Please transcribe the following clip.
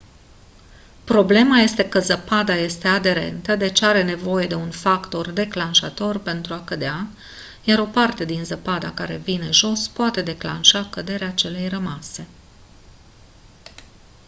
problema este că zăpada este aderentă deci are nevoie de un factor declanșator pentru a cădea iar o parte din zăpada care vine jos poate declanșa căderea celei rămase